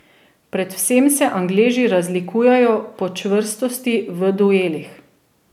Predvsem se Angleži razlikujejo po čvrstosti v duelih.